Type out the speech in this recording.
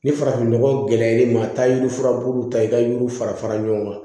Ni farafinnɔgɔ gɛlɛn ma a bɛ taa yiri furabulu ta i ka yiriw fara fara ɲɔgɔn kan